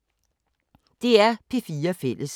DR P4 Fælles